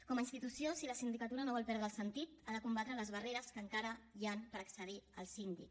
com a institució si la sindicatura no vol perdre el sentit ha de combatre les barreres que encara hi han per accedir al síndic